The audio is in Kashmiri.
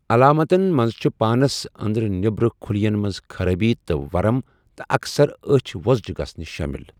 علاماتَن منٛز چھِ پانس اندرٕ نیبرٕ خلین منز خرٲبی تہٕ ورم ، تہٕ اَکثَر أچھ وو٘زجہِ گژھٕنہِ شٲمِل۔